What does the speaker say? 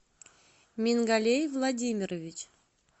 мингалей владимирович